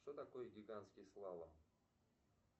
что такое гигантский слалом